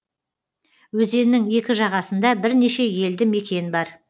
өзеннің екі жағасында бірнеше елді мекен бар